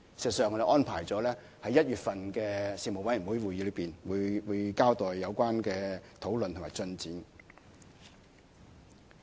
事實上，我們安排了在2017年1月的事務委員會會議上交代有關的討論及進展。